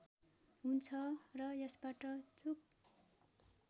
हुन्छ र यसबाट चूक